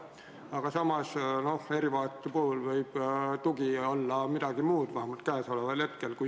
Aga samas erivajaduse puhul võib tugi olla midagi muud, vähemalt käesoleva eelnõu seisukohast.